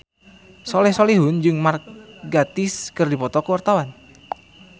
Soleh Solihun jeung Mark Gatiss keur dipoto ku wartawan